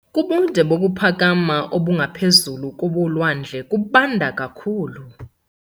Kubude bokuphakama obungaphezu kobolwandle kubanda kakhulu.